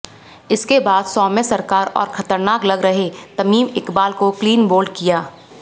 इसके बाद सोम्य सरकार और खतरनाक लग रहे तमीम इकबाल को क्लीन बोल्ड किया